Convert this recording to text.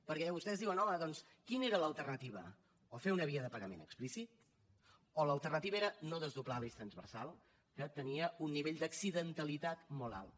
perquè vostès diuen home doncs quina era l’alternativa o fer una via de pagament explícit o l’alternativa era no desdoblar l’eix transversal que tenia un nivell d’accidentalitat molt alt